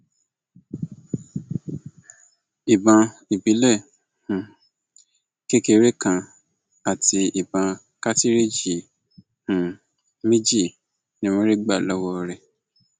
ìbọn ìbílẹ um kékeré kan àti ìbọn kàtìrìíjì um méjì ni wọn rí gbà lọwọ rẹ